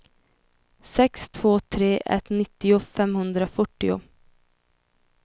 sex två tre ett nittio femhundrafyrtio